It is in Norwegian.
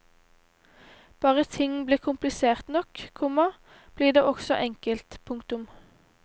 Bare ting blir komplisert nok, komma blir det også enkelt. punktum